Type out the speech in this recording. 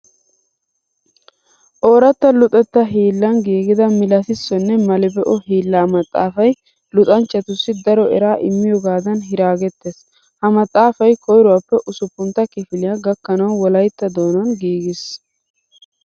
Ooratta luxettaa hiillan giigida milatissonne mali be'o hiillaa maxaafay luxanchchatussi daro eraa immiyogaadan hiraagettees. Ha maxaafay koyruwappe usuppuntta kifiliya gakkanawu wolayttatto doonan giigiis.